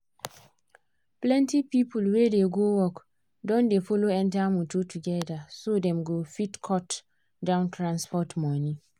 plenty people wey dey go work don dey follow enter motor together so dem go fit cut down transport money.